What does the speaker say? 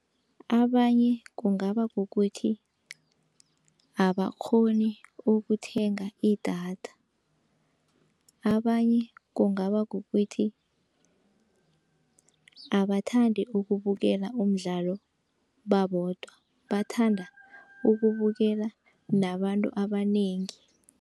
Abanye kungaba kukuthi abakghoni ukuthenga idatha, abanye kungaba kukuthi abathandi ukubukela umdlalo babodwa, bathanda ukubukela nabantu abanengi.